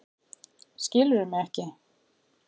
Skilurðu mig ekki?